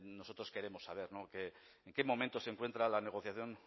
nosotros queremos saber en qué momento se encuentra la negociación